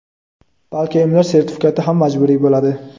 balki emlash sertifikati ham majburiy bo‘ladi.